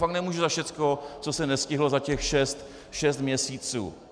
Fakt nemůžu za všechno, co se nestihlo za těch šest měsíců.